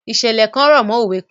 Ìṣẹ̀lẹ̀ kan rọ̀mọ́ òwe kan.